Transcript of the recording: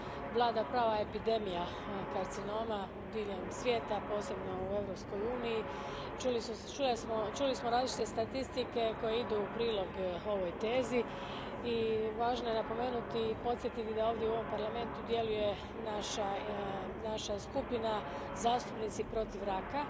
Vlada prava epidemija karcinoma diljem svijeta, posebno u Europskoj uniji. Čuli smo različite statistike koje idu u prilog ovoj tezi i važno je napomenuti i podsjetiti da ovdje u ovom Parlamentu djeluje naša skupina, Zastupnici protiv raka,